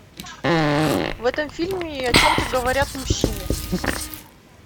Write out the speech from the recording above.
в этом фильме о чем то говорят мужчины